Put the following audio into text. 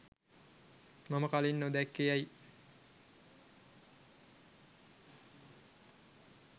මම කලින් නොදැක්කේ ඇයි?